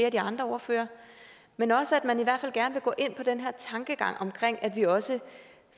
af de andre ordførere men også gerne vil gå ind på den her tankegang om at vi også